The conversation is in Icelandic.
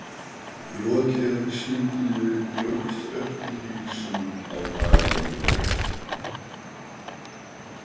Rokið á sundinu jókst eftir því sem á daginn leið.